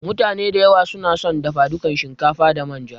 mutane da yawa sunason dafa duka din shinkafa da manja.